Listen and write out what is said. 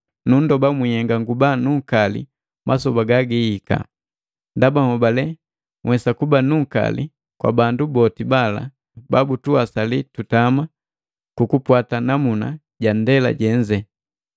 Nundoba mwinhenga nguba nunkali masoba ganihika, ndaba nhobale nhwesa kuba nunkali kwa bandu boti bala babutuwasali tutama kukupwata namuna ja ndema jenze.